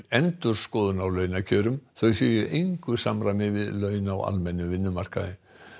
endurskoðun á launakjörum þau séu í engu samræmi við laun á almennum vinnumarkaði